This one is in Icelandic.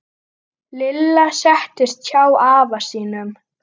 Lilla settist hjá afa sínum.